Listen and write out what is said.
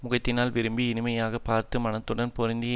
முகத்தினால் விரும்பி இனிமையாக பார்த்து மனத்துடன் பொருந்திய